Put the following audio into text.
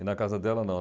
E na casa dela, não.